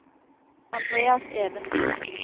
Andreas Evensen